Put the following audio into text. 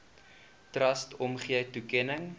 trust omgee toekenning